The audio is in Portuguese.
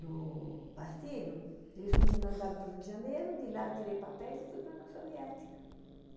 no partido, eles me mandaram para o Rio de Janeiro, de lá eu tirei papéis e fui para a União Soviética.